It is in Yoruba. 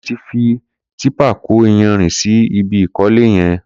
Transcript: Kunle ti fi tìpá kó iyànrín si ibi ikọ̀lé yèn